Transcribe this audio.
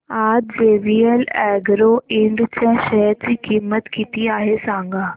आज JVL Agro Ind च्या share ची किंमत किती आहे सांगा